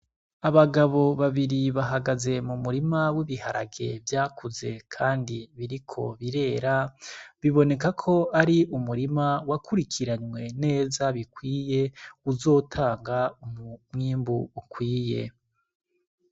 Abagabo babiri bahagaze mu murima w'ibiharage vyakuze, kandi biriko birera biboneka ko ari umurima wakurikiranywe neza bikwiye uzotanga umumwimbu ukwiye.